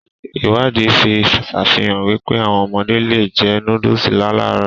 Ìwádìí fi sàfihàn wípé, áwọn ọmọdé le è jẹ nóódùsì láàlárọ̀